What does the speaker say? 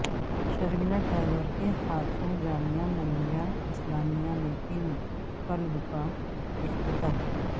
شرمیلا ٹیگور کے ہاتھوں جامعہ ملیہ اسلامیہ میں فلم کلب کا افتتاح